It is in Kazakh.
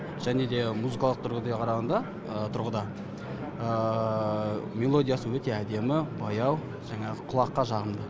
және де музыкалық қарағанда тұрғыда мелодиясы өте әдемі баяу жаңағы құлаққа жағымды